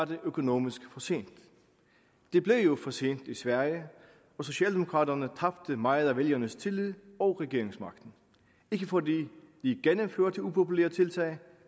det økonomisk for sent det blev jo for sent i sverige og socialdemokraterne tabte meget af vælgernes tillid og regeringsmagten ikke fordi de gennemførte upopulære tiltag